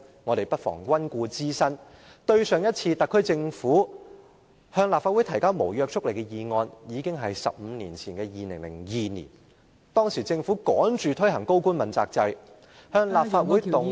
我們不妨溫故知新，上次特區政府向立法會提交無約束力議案已經是15年前的2002年，當時政府趕着推行高官問責制，向立法會動議......